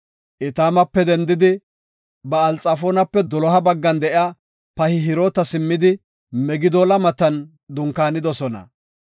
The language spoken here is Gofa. Etaamape dendidi Ba7ali-Xafoonape doloha baggan de7iya Pihahiroota simmidi Migdoola matan dunkaanidosona.